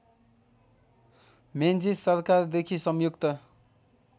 Menzies सरकारदेखि संयुक्त